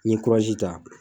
N ye ta.